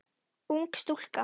Ung stúlka.